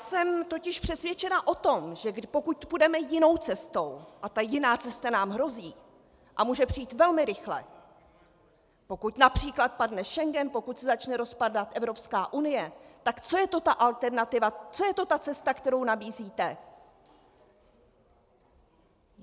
Jsem totiž přesvědčená o tom, že pokud půjdeme jinou cestou, a ta jiná cesta nám hrozí a může přijít velmi rychle, pokud například padne Schengen, pokud se začne rozpadat Evropská unie - tak co je to ta alternativa, co je to ta cesta, kterou nabízíte?